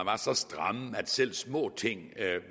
så stramme at selv små ting